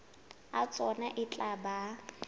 a tsona e tla ba